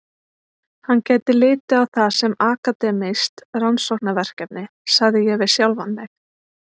Hann gæti litið á það sem akademískt rannsóknarverkefni, sagði ég við sjálfan mig.